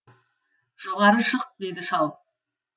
жоғары шық деді шал